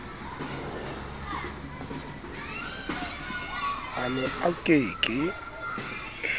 a ne a ke ke